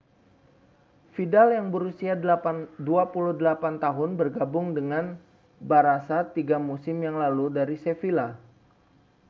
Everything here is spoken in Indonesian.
vidal yang berusia 28 tahun bergabung dengan barã§a tiga musim yang lalu dari sevilla